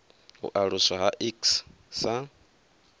u aluswa ha iks sa